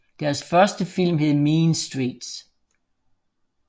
Deres første film hed Mean Streets